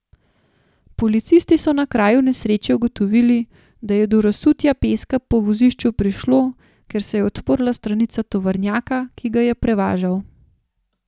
Policisti so na kraju nesreče ugotovili, da je do razsutja peska po vozišču prišlo, ker se je odprla stranica tovornjaka, ki ga je prevažal.